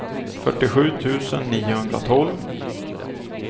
fyrtiosju tusen niohundratolv